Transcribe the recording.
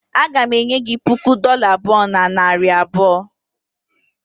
Aga m enye gị puku dola abụọ na narị abụọ